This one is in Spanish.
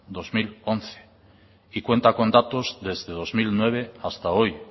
dos mil once y cuenta con datos desde el dos mil nueve hasta hoy